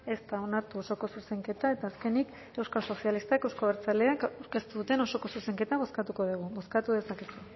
ez da onartu osoko zuzenketa eta azkenik euskal sozialistak euzko abertzaleak aurkeztu duten osoko zuzenketa bozkatuko dugu bozkatu dezakegu